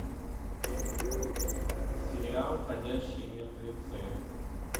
сериал ходячие мертвецы